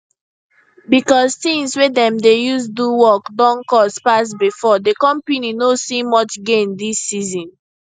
because things wey dem dey use do work don cost pass before di company no see much gain dis season